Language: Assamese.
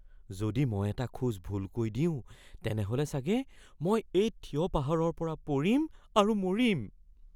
যদি মই এটা খোজ ভুলকৈ দিওঁ, তেনেহ’লে চাগে মই এই থিয় পাহাৰৰ পৰা পৰিম আৰু মৰিম।